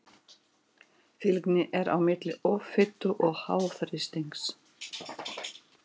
Fylgni er á milli offitu og háþrýstings.